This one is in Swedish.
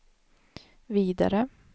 vidare